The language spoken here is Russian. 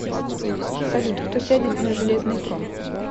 салют кто сядет на железный трон